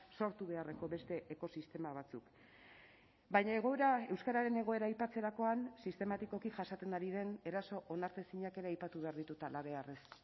sortu beharreko beste ekosistema batzuk baina egoera euskararen egoera aipatzerakoan sistematikoki jasaten ari den eraso onartezinak ere aipatu behar ditut halabeharrez